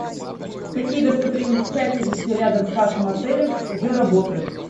какие достопримечательности рядом с вашим отелем уже работают